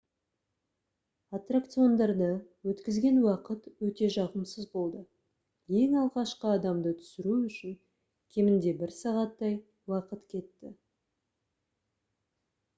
аттракциондарда өткізген уақыт өте жағымсыз болды ең алғашқы адамды түсіру үшін кемінде бір сағаттай уақыт кетті